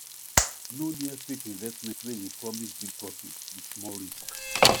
no near fake investments wey dey promise big profit with small risk